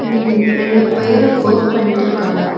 இங்கன் ரெண்டு பேரு வொர்க் பண்ணிட்ருக்காங்க.